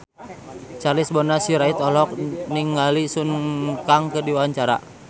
Charles Bonar Sirait olohok ningali Sun Kang keur diwawancara